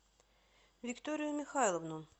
викторию михайловну